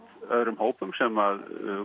öðrum hópum sem